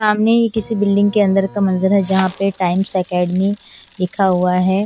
सामने ये किसी बिल्डिंग के अंदर का मंजर है जहां पे टाइम्स एकेडमी लिखा हुआ है।